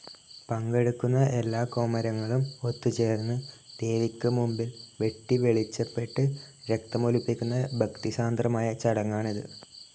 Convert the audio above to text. പങ്കെടുക്കുന്ന എല്ലാ കോമരങ്ങളും ഒത്തുചേർന്ന് ദേവിക്ക് മുമ്പിൽ വെട്ടിവെളിച്ചപ്പെട്ട് രക്തമൊലിപ്പിക്കുന്ന ഭക്തിസാന്ദ്രമായ ചടങ്ങാണിത്.